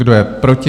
Kdo je proti?